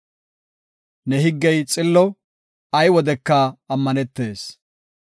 Ne higgey xillo; ay wodeka ammanetees.